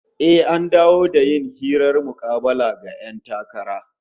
Eh, an dawo da yin hirar mukabala ga 'yan takara